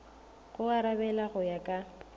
go arabela go ya ka